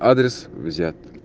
адрес взят